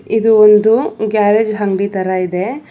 ಇದು ಒಂದು ಗ್ಯಾರೇಜ್ ಅಂಗಡಿ ತರ ಇದೆ.